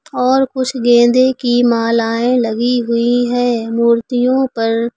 और कुछ गेंदे की मालाएं लगी हुई हैं मूर्तियों पर।